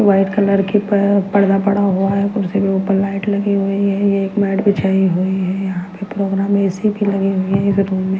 white colour के प पर्दा पड़ा हुआ है कुर्सी के ऊपर लाइट लगी हुई है ये एक मैट बिछाई हुई है यहां पे प्रोग्राम ए_सी लगे हुए हैं इधर रूम में--